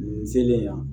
Nin selen yan